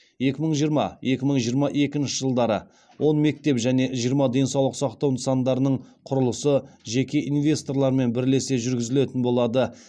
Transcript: екі мың жиырма екі мың жиырма екінші жылдары он мектеп және жиырма денсаулық сақтау нысандарының құрылысы жеке инвесторлармен бірлесе жүргізілетін болады